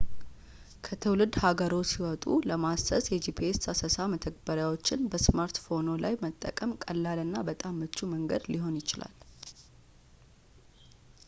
ከትውልድ ሀገርዎ ሲወጡ ለማሰስ የጂፒኤስ አሰሳ መተግበሪያዎችን በስማርትፎንዎ ላይ መጠቀም ቀላሉ እና በጣም ምቹ መንገድ ሊሆን ይችላል